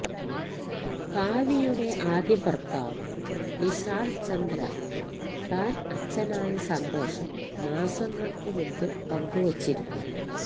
കാവ്യയുടെ ആദ്യ ഭര്ത്താവ് നിശാല് ചന്ദ്ര താന് അച്ഛനായ സന്തോഷം മാസങ്ങള്ക്ക് മുമ്പ് പങ്കുവച്ചിരുന്നു